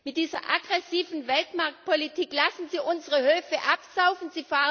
Mit dieser aggressiven Weltmarktpolitik lassen Sie unsere Höfe absaufen.